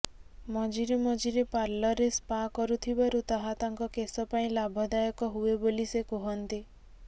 ମଝିରେ ମଝିରେ ପାର୍ଲରରେ ସ୍ପା କରୁଥିବାରୁ ତାହା ତାଙ୍କ କେଶ ପାଇଁ ଲାଭଦାୟକ ହୁଏ ବୋଲି ସେ କୁହନ୍ତି